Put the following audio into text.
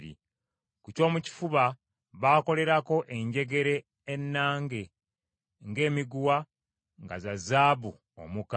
Ku kyomukifuba baakolerako enjegere ennange ng’emiguwa, nga za zaabu omuka;